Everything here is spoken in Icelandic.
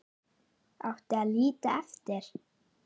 Átti að líta eftir